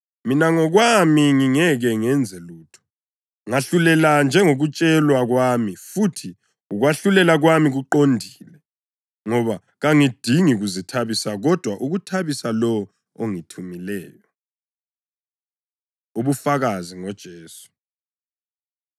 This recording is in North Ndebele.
Mina ngokwami ngingeke ngenze lutho; ngahlulela njengokutshelwa kwami, futhi ukwahlulela kwami kuqondile, ngoba kangidingi kuzithabisa, kodwa ukuthabisa lowo ongithumileyo.” Ubufakazi NgoJesu